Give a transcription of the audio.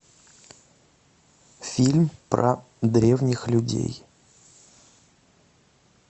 фильм про древних людей